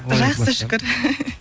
жақсы шүкір